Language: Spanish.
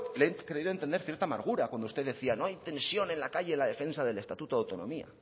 le he creído entender cierta amargura cuando usted decía no hay tensión en la calle en la defensa del estatuto de autonomía